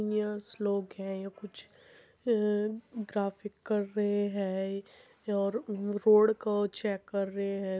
यह श्लोक है य कुछ अ ग्राफिक कर रहे है और रोड को चेक कर रहे है।